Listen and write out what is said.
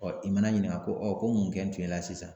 Ɔ i mana ɲininka ko ɔ ko mun kɛn tun y'i la sisan